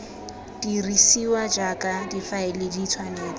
dirisiwa jaaka difaele di tshwanetse